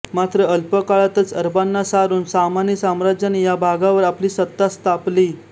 मात्र अल्पकाळातच अरबांना सारून सामानी साम्राज्याने या भागावर आपली सत्ता स्थापली